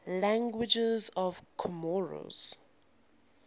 languages of comoros